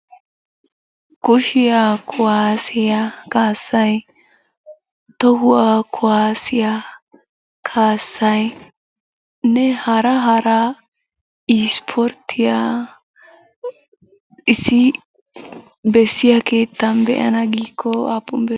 Kushiya kuwasiya kaassay, tohuwa kuwasiya kaassaynne hara hara ispporttiya issi bessiya keettan be'ana giikko aappun biree?